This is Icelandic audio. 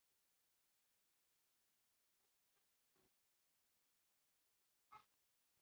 Það sem forvitinn má ekki vita! svaraði Lilla og tók til fótanna.